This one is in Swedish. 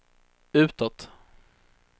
utåt